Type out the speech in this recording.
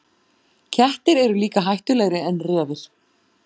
Kettir eru líka hættulegri en refir.